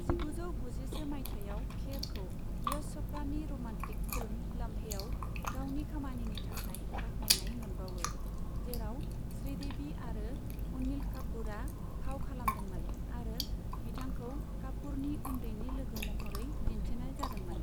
जिगुजौ गुजिसे मायथाइयाव खेरखौ यश च'पड़ानि रमान्टिक फिल्म लम्हेआव गावनि खामानिनि थाखाय बाखनायनाय मोनबावो, जेराव श्रीदेबी आरो अनिल कापुरा फाव खालामदोंमोन आरो बिथांखौ कापुरनि उन्दैनि लोगो महरै दिन्थिनाय जादोंमोन।